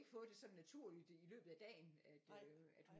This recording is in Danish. Fået det sådan naturligt i løbet af dagen at øh at hun